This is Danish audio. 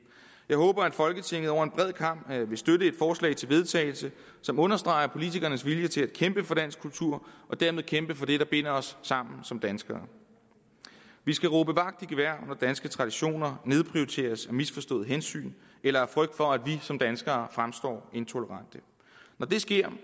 jeg håber at folketinget over en bred kam vil støtte et forslag til vedtagelse som understreger politikernes vilje til at kæmpe for dansk kultur og dermed kæmpe for det der binder os sammen som danskere vi skal råbe vagt i gevær når danske traditioner nedprioriteres af misforstået hensyn eller frygt for at vi som danskere fremstår intolerante når det sker